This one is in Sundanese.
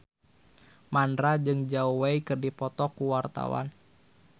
Mandra jeung Zhao Wei keur dipoto ku wartawan